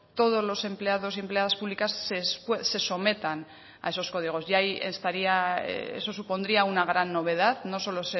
todos los empleados y empleadas públicas se sometan a esos códigos y ahí estaría eso supondría una gran novedad no solo